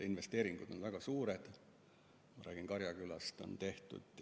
Investeeringud on väga suured, kui ma räägin Karjakülast, mis on tehtud.